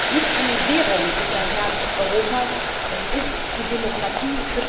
Nicht eine Währung ist das Herz Europas, es ist die Demokratie.